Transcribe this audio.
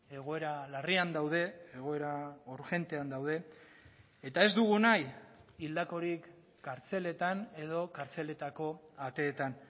egoera larrian daude egoera urgentean daude eta ez dugu nahi hildakorik kartzeletan edo kartzeletako ateetan